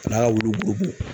N'a wulu